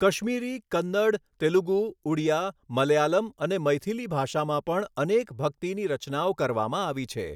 કશ્મીરી, કન્નડ, તેલુગુ, ઉડીયા, મલયાલમ અને મૈથીલી ભાષામાં પણ અનેક ભક્તિની રચનાઓ કરવામાં આવી છે.